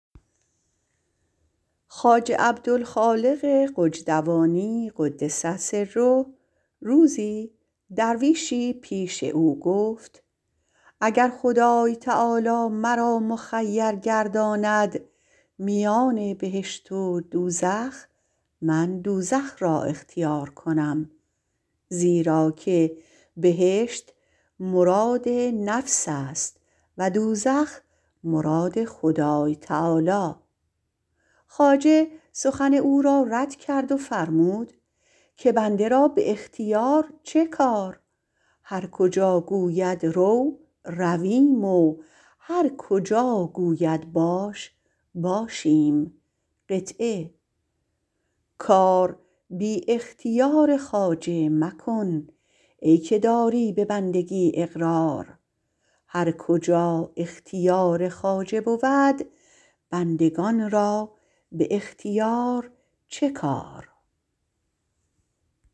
خواجه عبدالخالق غجدوانی را - قدس سره - روزی درویشی پیش او گفت اگر خدای تعالی مرا مخیر گرداند میان بهشت و دوزخ من دوزخ را انتخاب کنم زیراکه بهشت مراد نفس است و دوزخ مراد خدای تعالی خواجه او را رد کردند و فرمودند که بنده را به اختیار چه کار هر جا گوید رو رویم و هرجا گوید باش باشیم کار بی اختیار خواجه مکن ای که داری به بندگی اقرار هرکجا اختیار خواجه بود بندگان را به اختیار چه کار